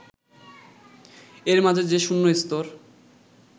এর মাঝে যে শূন্য স্তর